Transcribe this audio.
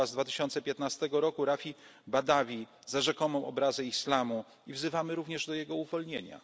Nagrody im. Sacharowa z 2015 roku Raifa Badawiego za rzekomą obrazę islamu i wzywamy również do jego